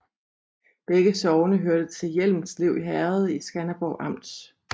Begge sogne hørte til Hjelmslev Herred i Skanderborg Amt